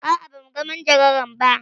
A'a, ba mu ga majagaran ba.